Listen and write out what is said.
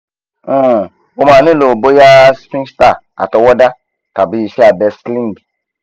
um o ma nilo boya sphincter atọwọda tabi iṣẹ abẹ sling